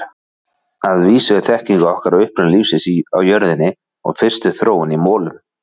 Að vísu er þekking okkar á uppruna lífsins á jörðinni og fyrstu þróun í molum.